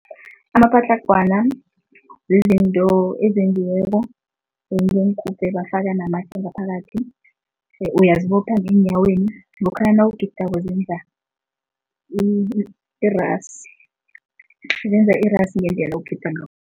Amapatlagwana zizinto ezenziweko bafaka namatje ngaphakathi. Uyazibopha ngeenyaweni, lokha nawugidako zenza iras, zenza irasi ngendlela ogida ngakho.